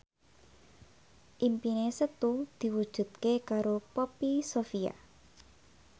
impine Setu diwujudke karo Poppy Sovia